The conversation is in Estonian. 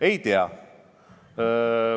Ei tea.